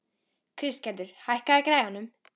Kristgerður, hækkaðu í græjunum.